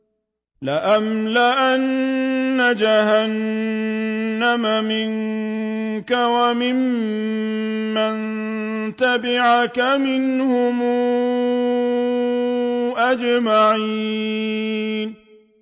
لَأَمْلَأَنَّ جَهَنَّمَ مِنكَ وَمِمَّن تَبِعَكَ مِنْهُمْ أَجْمَعِينَ